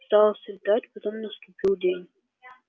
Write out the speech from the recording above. стало светать потом наступил день